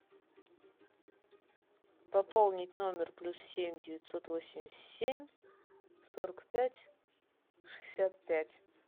пополнить номер плюс семь девятьсот восемьдесят семь сорок пять шестьдесят пять